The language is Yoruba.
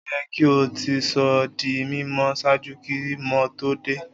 o yẹ ki o ti sọ di mimọ ṣaaju ki Mo to de!